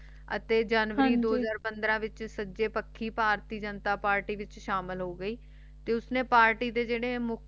ਅਤੇ ਜਨੁਰੀ ਹਨ ਜੀ ਦੋ ਹਾਜ਼ਰ ਪੰਦਰਾਂ ਦੇ ਵਿਚ ਸੱਜੇ ਪੱਖੀ ਜਨਤਾ ਪਾਰਟੀ ਦੇ ਵਿਚ ਸ਼ਾਮਿਲ ਹੋਗੇ ਤੇ ਉਸਨੇ ਪਾਰਟੀ ਦੇ ਜੈਰੇ ਮੁਖ